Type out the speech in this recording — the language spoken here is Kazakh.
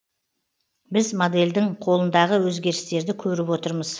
біз модельдің қолындағы өзгерістерді көріп отырмыз